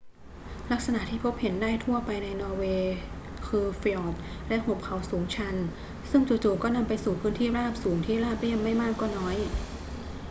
ลักษณะที่พบเห็นได้ทั่วไปในนอร์เวย์คือฟยอร์ดและหุบเขาสูงชันซึ่งจู่ ๆ ก็นำไปสู่พื้นที่ราบสูงที่ราบเรียบไม่มากก็น้อย